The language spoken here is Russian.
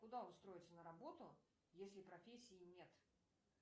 куда устроиться на работу если профессии нет